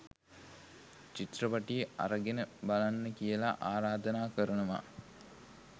චිත්‍රපටිය අරගෙන බලන්න කියලා ආරාධනා කරනවා